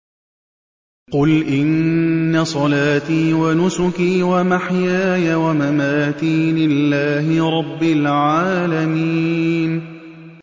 قُلْ إِنَّ صَلَاتِي وَنُسُكِي وَمَحْيَايَ وَمَمَاتِي لِلَّهِ رَبِّ الْعَالَمِينَ